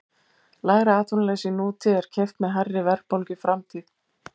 Lægra atvinnuleysi í nútíð er keypt með hærri verðbólgu í framtíð.